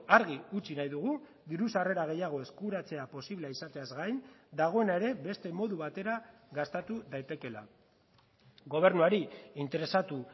argi utzi nahi dugu diru sarrera gehiago eskuratzea posible izateaz gain dagoena ere beste modu batera gastatu daitekeela gobernuari interesatu